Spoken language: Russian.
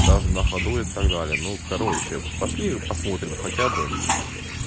даже на ходу и так далее ну короче пошли посмотрим хотя бы